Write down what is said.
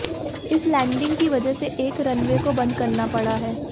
इस लैंडिंग की वजह से एक रनवे को बंद करना पड़ा है